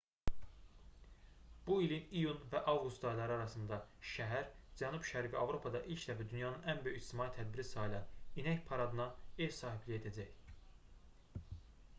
bu ilin iyun və avqust ayları arasında şəhər cənub-şərqi avropada ilk dəfə dünyanın ən böyük ictimai tədbiri sayılan i̇nək paradına ev sahibliyi edəcək